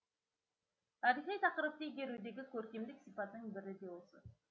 тарихи тақырыпты игерудегі көркемдік сипаттың бірі де осы